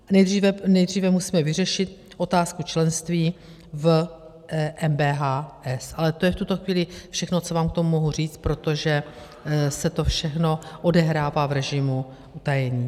Nejdříve musíme vyřešit otázku členství v MBHS, ale to je v tuto chvíli všechno, co vám k tomu mohu říci, protože se to všechno odehrává v režimu utajení.